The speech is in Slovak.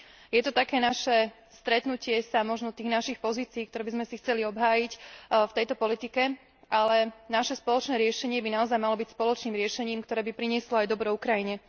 Je to také stretnutie našich pozícií, ktoré by sme si chceli obhájiť v tejto politike, ale naše spoločné riešenie by naozaj malo byť spoločným riešením, ktoré by prinieslo aj dobro Ukrajine.